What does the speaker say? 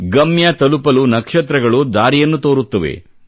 ಗಮ್ಯ ತಲುಪಲು ನಕ್ಷತ್ರಗಳು ದಾರಿಯನ್ನು ತೋರುತ್ತವೆ